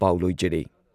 ꯄꯥꯎ ꯂꯣꯏꯖꯔꯦ